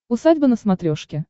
усадьба на смотрешке